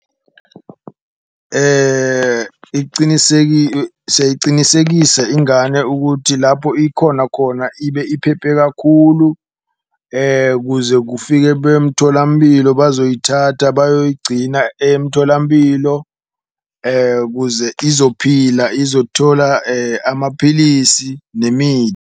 Siyayicinisekisa ingane ukuthi lapho ikhona khona ibe iphephe kakhulu kuze kufike bemtholampilo bazoyithatha bayogcina emtholampilo, kuze izophila izothola amaphilisi .